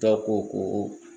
Dɔw ko ko